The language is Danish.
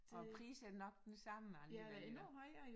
Og prisen er nok den samme alligevel